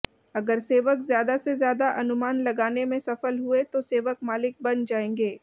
अगर सेवक ज्यादा से ज्यादा अनुमान लगाने में सफल हुए तो सेवक मालिक बन जाएंगे